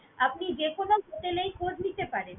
আপনি যেকোনো hotel এই খোঁজ নিতে পারেন।